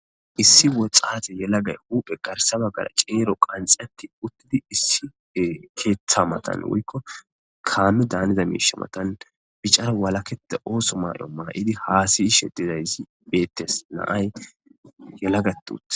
Issi woxaate yelagay uphe garsaba gara ceero qanxatti uttidi issi keeththa matan woykko kaame daaniza miisha matan picar walakeda ooso may'o mana idi haasiyi shedidaysi beettes naay yelagatut.